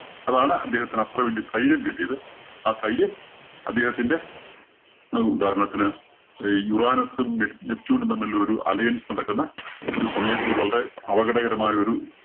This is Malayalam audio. അതാണ്‌ അദ്ദേഹത്തിന് അത്ര വല്യ ധൈര്യം കിട്ടിയത്. ആ ധൈര്യം അദ്ദേഹത്തിന്റെ ഉദാഹരണത്തിന് uranus ഉം, നെ~ neptune ഉം തമ്മില്‍ ഒരു alliance നടക്കുന്ന ഒരു സമയത്ത് ഒരു വളരെ അപകടകരമായ ഒരു